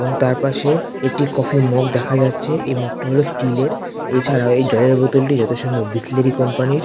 এবং তার পাশে একটি কফি মগ দেখা যাচ্ছে এই মগ টা হলো স্টিল এর এছাড়াও এই জলের বোতলটি যতসম্ভব বিসলেরই কোম্পানির ।